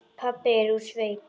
Pabbi er úr sveit.